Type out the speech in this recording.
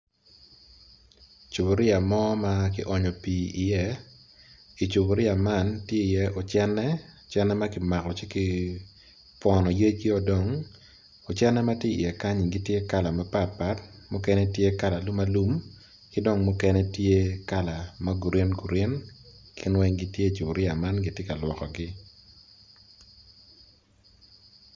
Cupuria mo ma kionyo pi iye i cupuria man tye ki i ye ocene ocene makimako ci pwono yec gi o dong ocene matye i ye kanyi gitye kala mapat pat mukene tye kala alumalum kidong mukene tye kala ma green green gin weng gitye i cupuria man gitye ka lwoko gi